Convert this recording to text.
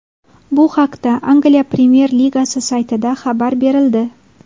Bu haqda Angliya premyer ligasi saytida xabar berildi .